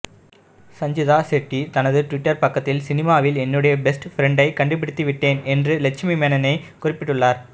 சஞ்சிதா ஷெட்டி தனது ட்விட்டர் பக்கத்தில் சினிமாவில் என்னுடைய பெஸ்ட் ஃப்ரண்டை கண்டுபிடித்து விட்டேன் என்று லக்ஷ்மி மேனனனை குறிப்பிட்டுள்ளார்